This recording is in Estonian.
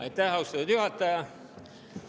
Aitäh, austatud juhataja!